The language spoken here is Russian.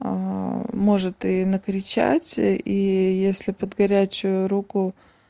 может и накричать и если под горячую руку